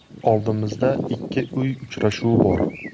Oldimizda ikki uy uchrashuvi bor.